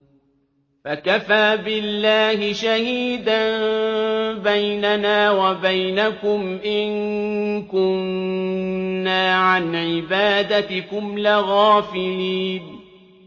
فَكَفَىٰ بِاللَّهِ شَهِيدًا بَيْنَنَا وَبَيْنَكُمْ إِن كُنَّا عَنْ عِبَادَتِكُمْ لَغَافِلِينَ